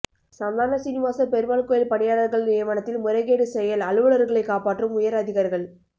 சந்தான சீனிவாச பெருமாள் கோயில் பணியாளர்கள் நியமனத்தில் முறைகேடு செயல் அலுவலர்களை காப்பாற்றும் உயர்அதிகாரிகள்